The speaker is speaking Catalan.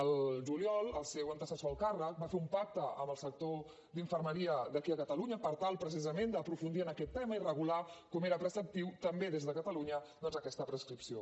al juliol el seu antecessor al càrrec va fer un pacte amb el sector d’infermeria d’aquí a catalunya per tal precisament d’aprofundir en aquest tema i regular com era preceptiu també des de catalunya doncs aquesta prescripció